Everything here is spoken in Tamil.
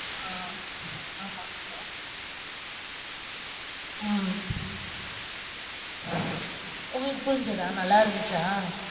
ஆஹ் ஆமா. உம் உங்களுக்கு புரிஞ்சுச்சா, நல்லா இருந்துச்சா?